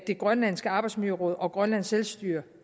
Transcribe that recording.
grønlandske arbejdsmiljøråd og grønlands selvstyre